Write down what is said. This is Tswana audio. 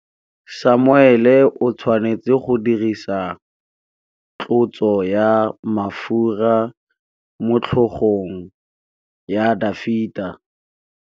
Samuele o tshwanetse go dirisa tlotsô ya mafura motlhôgong ya Dafita.